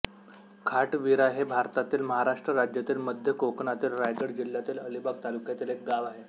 खाटविरा हे भारतातील महाराष्ट्र राज्यातील मध्य कोकणातील रायगड जिल्ह्यातील अलिबाग तालुक्यातील एक गाव आहे